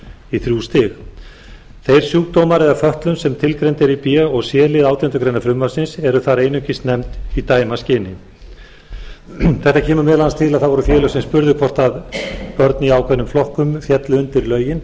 í þrjú stig þeir sjúkdómar eða fötlun sem tilgreind er í b og c lið átjándu grein frumvarpsins er þar einungis nefnd í dæmaskyni þetta kemur meðal annars til að það voru félög sem spurðu hvort börn í ákveðnum flokkum féllu undir lögin